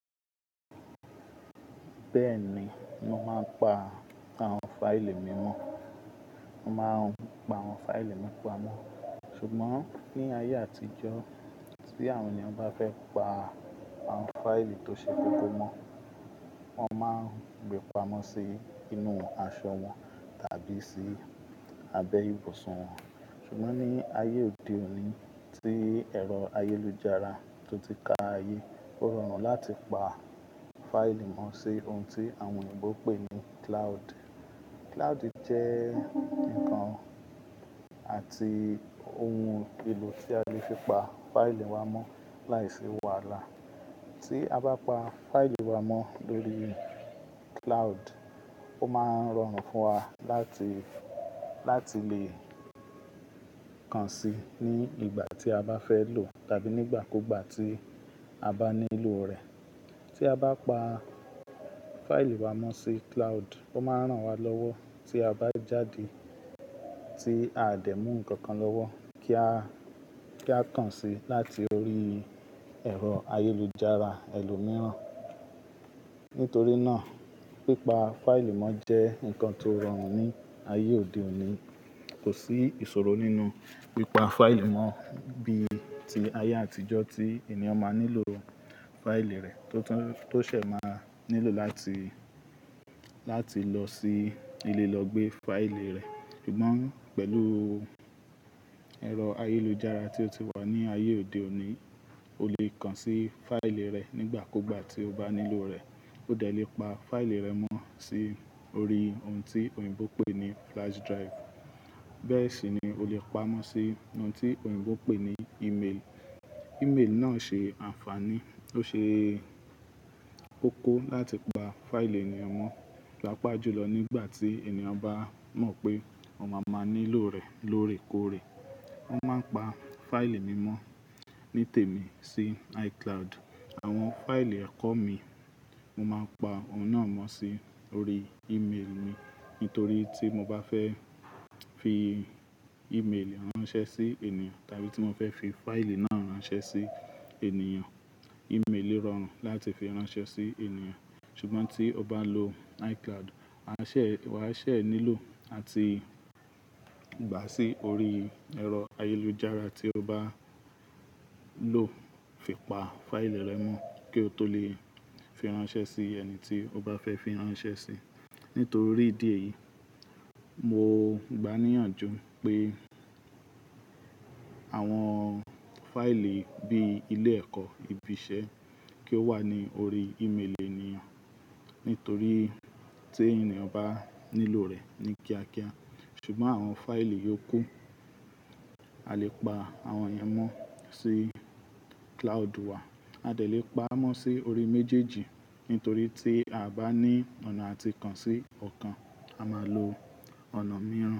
Bẹ́ẹ̀ ni mo máa ń pa àwọn fáìlì mímọ́. Mo máa ń pa àwọn fáìlì mí pamọ́. Ṣùgbọ́n ní ayé àtijọ́, tí àwọn ènìyàn bá fẹ́ pa àwọn fáìlì tó ṣe kókó mọ́, wọ́n máa ń gbé pamọ́ sí inú aṣọ wọn tàbí sí abẹ ìbusun wọn. Ṣùgbọ́n ní ayé òde òní tí ẹ̀rọ ayélujára tó ti ka ayé, ó rọrùn láti pa fáìlì mọ́ sí ohun tí àwọn òyìnbó ń pè ní cloud. Cloud jẹ́ ǹkan àti ohun èlò tí a lè fi pa fáìlì wa mọ́ láìsí wàhálà. Tí a bá pa fáìlì wa mọ́ lórí cloud, ó máa ń rọrùn fún wa láti, láti lè kàn sí ní ìgbà tí a bá fẹ́ lòò tàbí nígbà kúugbà tí a bá nílò rẹ̀. Tí a bá pa fáìlì wa mọ́ sí cloud, ó máa ń ràn wá lọ́wọ́ tí a bá jáde tí aa dẹ̀ mú nǹkan kan lọ́wọ́ kí a, kí a kàn sí láti orí ẹ̀rọ ayélujára ẹlo mìíràn. Nítorí náà, pípa fáìlì mọ́ jẹ́ ǹkan tó rọrùn ní ayé òde òní. Kò sí ìṣòro nínú pípa fáìlì mọ́ bíi ti ayé àtijọ́ tí ènìyàn máa nílò fáìlì rẹ̀ tó tún, tó se máa nílò láti, láti lọ sí ilé lọ gbé fáìlì rẹ̀. Ṣùgbọ́n pẹ̀lú ẹ̀rọ ayélujára tí ó ti wà ní ayé òde òní, o lè kàn sí fáìlì rẹ nígbà kuúgbà tí o bá nílò rẹ̀. O dẹ̀ lè pa fáìlì rẹ mọ́ sí orí ohun tí òyìnbó ń pè ní flash drive. Bẹ́ẹ̀ sì ni o lè pa mọ́ sí ohun tí òyìnbó ń pè ní email. Email náà ṣe ànfàní, ó ṣe kókó láti pa fáìlì ènìyàn mọ́ paapaajùlọ nígbà tí ènìyàn bá mọ̀ pé wọn máa má nílò rẹ̀ lóòrèkóòrè. Mo máa ń pa fáìlì mi mọ́ ní tèmi sí iCloud. Àwọn fáìlì ẹ̀kọ́ mi, mo máa ń pa òhun náà mọ́ sí orí email mi. Nítorí tí mo bá fẹ́ fi email ránṣẹ́ sí ènìyàn tàbí tí mo fẹ́ fi fáìlì náà ránṣẹ́ sí ènìyàn, email rọrùn láti fi ránṣẹ́ sí ènìyàn. Ṣùgbọ́n tí o bá n lo iCloud, a ṣè, wa ṣè nílò àti gba sí orí ẹ̀rọ ayélujára tí o bá lò fi pa fáìlì rẹ mọ́ kí o tó lè fi ránṣẹ́ sí ẹni tí o bá fẹ́ fi ránṣẹ́ sí. Nítorí ìdí èyí, mo gba níyànjú pé àwọn fáìlì bíi ilé ẹ̀kọ́, ibi iṣẹ́ kí ó wà ní orí email ènìyàn. Nítorí tí ènìyàn bá nílò rẹ̀ ní kíá kíá. Ṣùgbọ́n àwọn fáìlì yòókù, a lè pa àwọn yẹn mọ́ sí cloud wa. A dẹ̀ lè pa mọ́ sí orí méjèèjì. Nítorí tí a bá ní ọ̀nà àti kàn sí ọ̀kan, a máa lo ọ̀nà mìíràn.